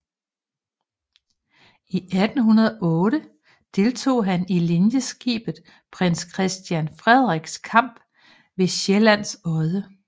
I 1808 deltog han i linjeskibet Prins Christian Frederiks kamp ved Sjællands Odde